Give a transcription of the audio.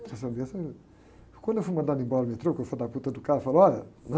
Quando eu fui mandado embora do metrô, que o filho da do cara, falou olha, né?